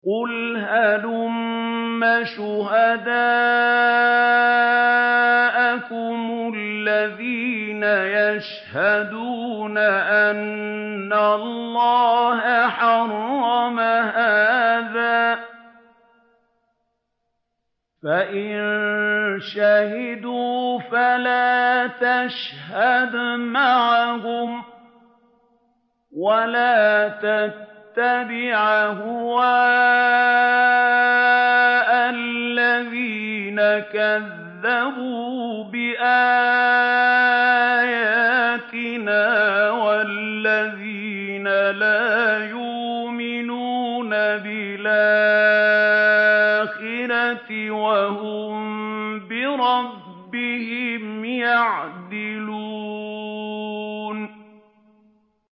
قُلْ هَلُمَّ شُهَدَاءَكُمُ الَّذِينَ يَشْهَدُونَ أَنَّ اللَّهَ حَرَّمَ هَٰذَا ۖ فَإِن شَهِدُوا فَلَا تَشْهَدْ مَعَهُمْ ۚ وَلَا تَتَّبِعْ أَهْوَاءَ الَّذِينَ كَذَّبُوا بِآيَاتِنَا وَالَّذِينَ لَا يُؤْمِنُونَ بِالْآخِرَةِ وَهُم بِرَبِّهِمْ يَعْدِلُونَ